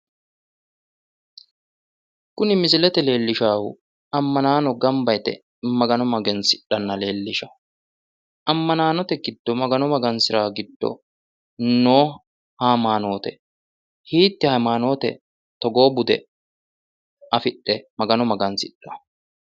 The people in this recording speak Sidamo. Kuni misilete leellishshaahu ammanaano gamba yite magano magansidhanna leellishawo. Ammanaanote giddo magano magansiraahu giddo noo hayimaanoote. Hiitte hayimaanoote togoo bude afidhe magano magansidhanno?